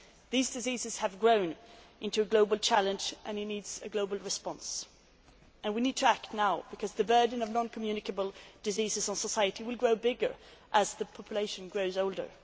These diseases have grown into a global challenge this needs a global response and we need to act now because the burden of non communicable diseases on society will grow bigger as the population grows older.